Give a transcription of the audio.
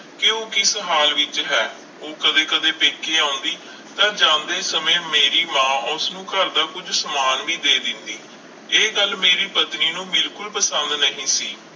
ਕਿ ਉਹ ਕਿਸ ਹਾਲ ਵਿੱਚ ਹੈ ਉਹ ਕਦੇ ਕਦੇ ਪੇਕੇ ਆਉਂਦੀ, ਤਾਂ ਜਾਂਦੇ ਸਮੇਂ ਮੇਰੀ ਮਾਂ ਉਸਨੂੰ ਘਰਦਾ ਕੁੱਝ ਸਮਾਨ ਵੀ ਦੇ ਦਿੰਦੀ ਇਹ ਗੱਲ ਮੇਰੀ ਪਤਨੀ ਨੂੰ ਬਿਲਕੁਲ ਪਸੰਦ ਨਹੀਂ ਸੀ,